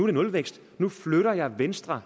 er nulvækst og nu flytter man venstre